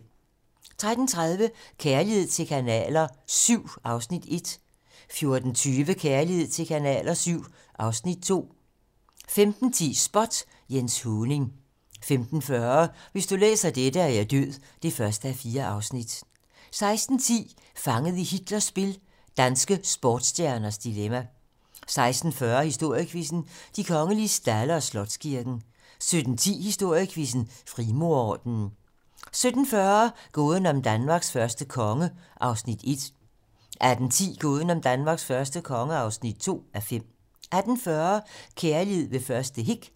13:30: Kærlighed til kanaler VII (Afs. 1) 14:20: Kærlighed til kanaler VII (Afs. 2) 15:10: Spot: Jens Haaning 15:40: Hvis du læser dette, er jeg død (1:4) 16:10: Fanget i Hitlers spil - danske sportsstjerners dilemma 16:40: Historiequizzen: De kongelige stalde og Slotskirken 17:10: Historiequizzen: Frimurerordenen 17:40: Gåden om Danmarks første konge (1:5) 18:10: Gåden om Danmarks første konge (2:5) 18:40: Kærlighed ved første hik